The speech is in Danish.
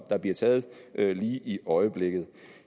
bliver taget lige i øjeblikket